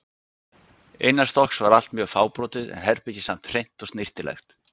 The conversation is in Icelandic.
Innanstokks var allt mjög fábrotið en herbergið samt hreint og snyrtilegt.